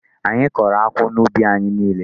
Anyị kọrọ akwụ n'ubi anyị niile.